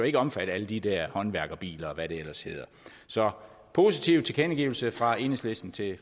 ikke omfatte alle de der håndværkerbiler og hvad det ellers hedder så positiv tilkendegivelse fra enhedslisten til